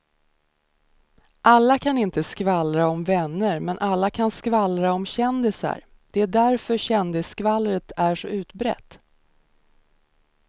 Alla kan inte skvallra om vänner men alla kan skvallra om kändisar, det är därför kändisskvallret är så utbrett.